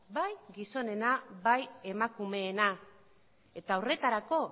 bai gizonena bai emakumeena eta horretarako